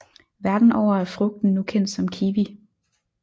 Verden over er frugten nu kendt som kiwi